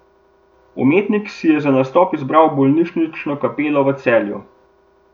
Umetnik si je za nastop izbral bolnišnično kapelo v Celju.